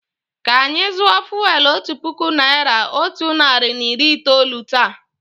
Kà anyị zụọ fụ́élú otu puku naị́ra, otu narị na iri itoolu taa.